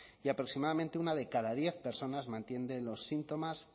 y aproximadamente una de cada diez personas mantiene los síntomas